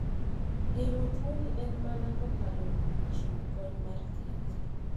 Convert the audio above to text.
Geng'o tuoni en mana kokalo kuom chiwo kony mar thieth.